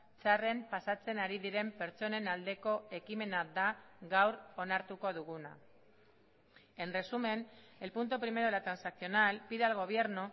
txarren pasatzen ari diren pertsonen aldeko ekimena da gaur onartuko duguna en resumen el punto primero de la transaccional pide al gobierno